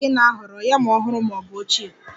Kedu nke ị na-ahọrọ, yam ọhụrụ ma ọ bụ ochie?